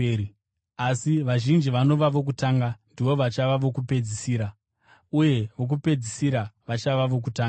Asi vazhinji vanova vokutanga ndivo vachava vokupedzisira, uye vokupedzisira vachava vokutanga.”